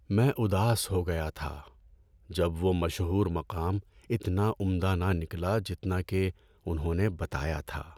‏میں اداس ہو گیا تھا جب وہ مشہور مقام اتنا عمدہ نہ نکلا جتنا کہ انہوں نے بتایا تھا‏۔